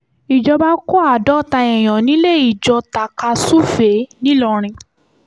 ìjọba kó àádọ́ta èèyàn nílé-ijọ tàka-súfèé ńìlọrin